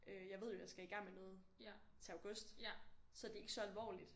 Øh jeg ved jo jeg skal i gang med noget til august så det er ikke så alvorligt